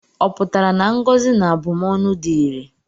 Ọ pụtara na ngọzi na abụmọnụ dị irè?